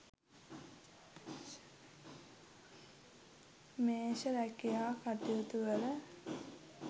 මේෂ රැකියා කටයුතුවල